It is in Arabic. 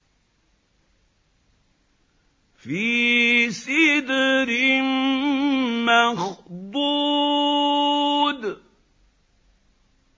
فِي سِدْرٍ مَّخْضُودٍ